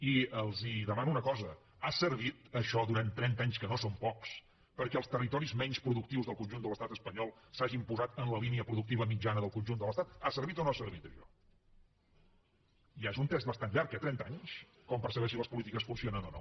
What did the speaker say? i els demano una cosa ha servit això durant trenta anys que no són pocs perquè els territoris menys productius del conjunt de l’estat espanyol s’hagin posat en la línia productiva mitjana del conjunt de l’estat ha servit o no ha servit això ja és un test bastant llarg eh trenta anys per saber si les polítiques funcionen o no